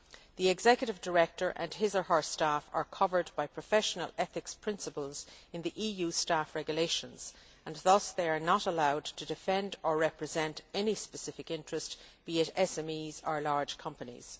The executive director and his or her staff are covered by professional ethics principles in the EU Staff Regulations and thus, they are not allowed to defend or represent any specific interest, be it SMEs or large companies.